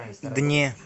дне